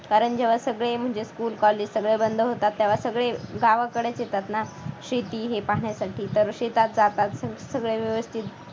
कारण जेव्हा सगळे म्हणजे school college सगळे बंद होतात तेव्हा सगळे गावाकडेच येतात ना शेती हे पाहण्यासाठी तर शेतात जातात खूप सगळे व्यवस्थित